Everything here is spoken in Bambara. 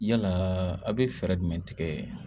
Yalaa a' bɛ fɛɛrɛ jumɛn tigɛ